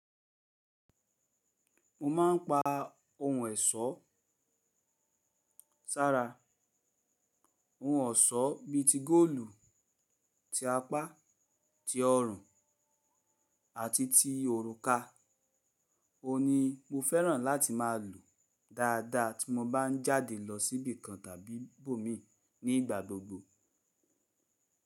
Mo ma ń pa ohun èsó sára. Ohun ọ̀ṣọ́ bí i ti góòlù, ti apá, ti ọrùn àti ti òrùka, òun ni mo fẹ́ràn láti má a lò dáadáa tí mo bá ń jáde lọ sí ibì kan tàbí ibo míi nígbà gbogbo.